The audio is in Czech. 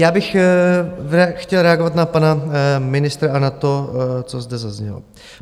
Já bych chtěl reagovat na pana ministra a na to, co zde zaznělo.